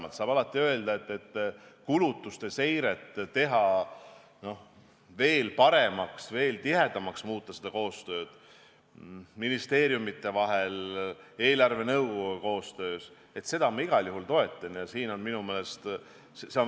Alati saab öelda, et kulutuste seiret tuleks teha veel paremaks ja muuta tihedamaks koostööd ministeeriumide vahel, eelarvenõukoguga koostöös, olgu see eelarve täitmine või eelarve kulude seire.